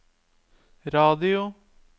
radio